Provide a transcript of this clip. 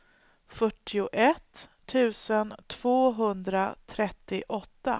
fyrtioett tusen tvåhundratrettioåtta